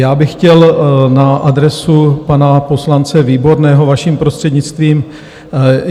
Já bych chtěl na adresu pana poslance Výborného vaším prostřednictvím.